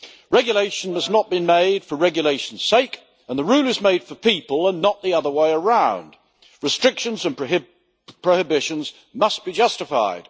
Regulation must not been made for regulation's sake, and the rule is made for people and not the other way around. Restrictions and prohibitions must be justified.